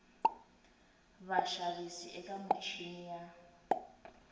na vaxavis eka michini ya